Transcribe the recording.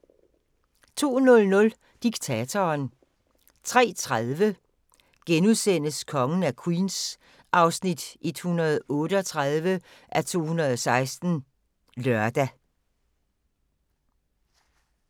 02:00: Diktatoren 03:30: Kongen af Queens (138:216)*(lør)